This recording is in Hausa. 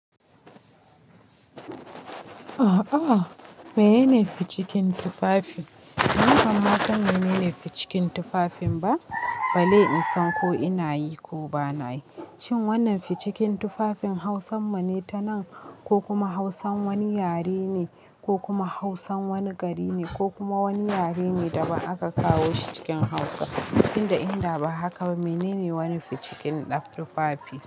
A'a, menene ficikin tufafi? Ni ban ma san menene ficikin tufafin ba. Balle in san ko ina yi ko bana yi. Shin wannan ficikin tufafin Hausan mu ne tanan? Ko kuma Hausan wani yare ne? Ko kuma Hausan wani gari ne? Ko kuma wani yare ne daban aka kawo shi cikin Hausa? Tunda inda ba haka ba, menene wani ficikin ɗa tufafi?